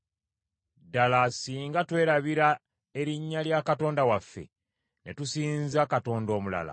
Ddala singa twerabira erinnya lya Katonda waffe, ne tusinza katonda omulala,